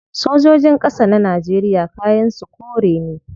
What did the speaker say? Sojojin kasa na Najeriya kayan su kore ne